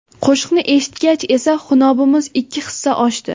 Qo‘shiqni eshitgach esa xunobimiz ikki hissa oshdi.